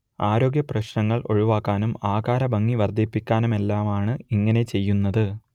ആരോഗ്യപ്രശ്നങ്ങൾ ഒഴിവാക്കാനും ആകാരഭംഗി വർദ്ധിപ്പിക്കാനുമെല്ലാമാണ് ഇങ്ങനെ ചെയ്യുന്നത്